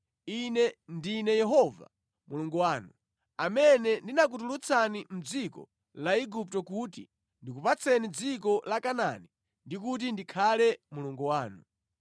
Ine ndine Yehova Mulungu wanu, amene ndinakutulutsani mʼdziko la Igupto kuti ndikupatseni dziko la Kanaani ndi kuti ndikhale Mulungu wanu.